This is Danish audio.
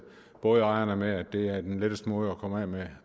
bådejerne med at det er den letteste måde at komme af med